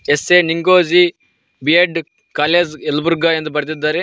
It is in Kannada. SA Ningoji B Ed college Yelburga ಎಂದು ಬರೆದಿದ್ದಾರೆ.